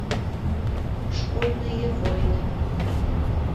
школьные войны